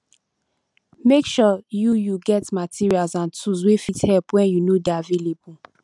make sure you you get materials and tools wey fit help when you no de available